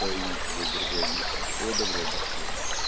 поедем тогда в другое место всего доброго до свидания